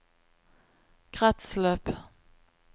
kretsløp